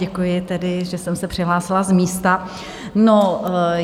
Děkuji tedy, že jsem se přihlásila z místa.